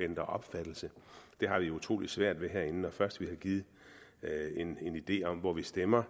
ændre opfattelse det har vi utrolig svært ved herinde når først vi har givet en idé om hvor vi stemmer